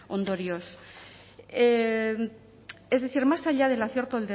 ondorioz es decir más allá del acierto